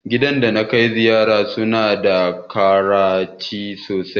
Gidan da na kai ziyara su na da karamci sosai